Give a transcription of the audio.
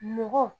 Mɔgɔ